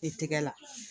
I tɛgɛ la